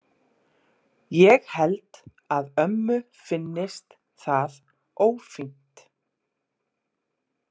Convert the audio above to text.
Ég held að ömmu finnist það ófínt.